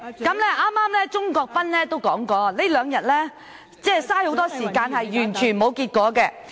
剛才鍾國斌議員提到，這兩天浪費了很多時間卻毫無結果......